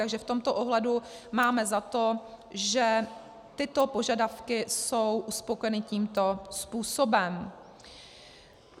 Takže v tomto ohledu máme za to, že tyto požadavky jsou uspokojeny tímto způsobem.